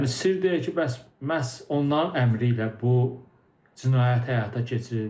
Yəni sirr deyil ki, bəs məhz onların əmri ilə bu cinayət həyata keçirildi.